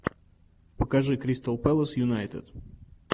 покажи кристал пэлас юнайтед